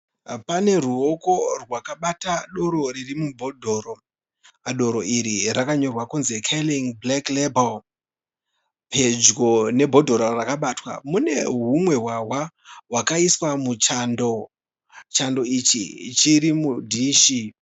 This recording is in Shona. Pane ruoko rwakabata doro riri mubhodhoro. Doro iri rakanyorwa kunzi Carling Black Label. Pedyo nebhodhoro rakabatwa mune humwe hwahwa hwakaiswa muchando. Chando ichi chiri mudhishi.